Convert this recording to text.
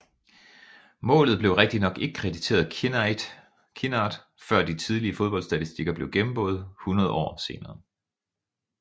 Målet blev rigtignok ikke krediteret Kinnaird før de tidlige fodboldstatistikker blev gennemgået hundrede år senere